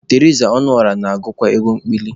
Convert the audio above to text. Teriza Ọnụọra na-agụkwa egwu ekpili.